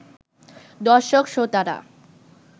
দর্শক-শ্রোতারা